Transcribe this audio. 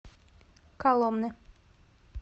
коломны